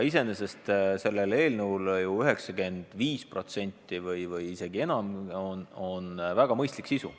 Iseenesest on 95% või isegi enam selle eelnõu sisust väga mõistlik.